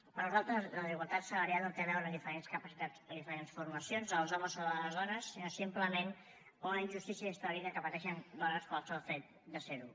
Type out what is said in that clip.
per nosaltres la desigualtat salarial no té a veure amb diferents capacitats o diferents formacions dels homes o de les dones sinó simplement com una injustícia història que pateixen dones pel sol fet de ser ho